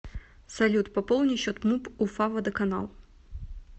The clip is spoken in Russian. салют пополни счет муп уфа водоканал